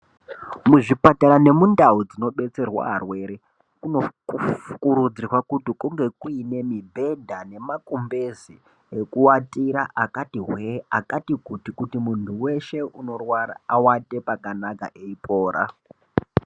Muzvipatara nemundau dzinobetserwa arwere, kunokurudzirwa kuti kunge kuine mibhedha nemakumbeze ekuwatira akati hwee , akati kuti ,kuti muntu weshe unorwara awate pakanaka eipora.